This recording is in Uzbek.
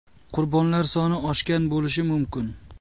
Qurbonlar soni oshgan bo‘lishi mumkin.